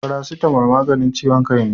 Paracetamol maganin ciwon kai ne